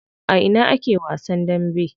A ina ake wasan dambe?